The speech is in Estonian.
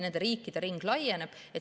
Nende riikide ring laieneb.